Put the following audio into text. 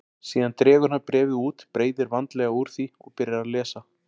Síðan dregur hann bréfið út, breiðir vandlega úr því og byrjar að lesa.